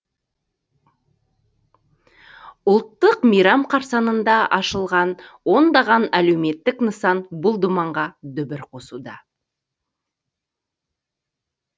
ұлттық мейрам қарсаңында ашылған ондаған әлеуметтік нысан бұл думанға дүбір қосуда